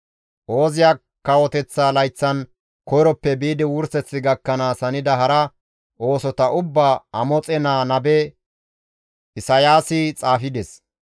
Ooziya kawoteththa layththan koyroppe biidi wurseth gakkanaas hanida hara oosota ubbaa Amoxe naa nabe Isayaasi xaafides.